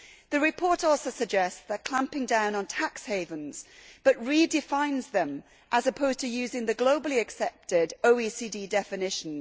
The report also suggests clamping down on tax havens but redefines them rather than using the globally accepted OECD definition.